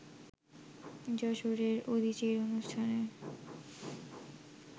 যশোরের উদীচীর অনুষ্ঠানে